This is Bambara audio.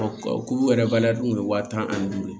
Ko yɛrɛ bali a tun bɛ wa tan ani duuru ye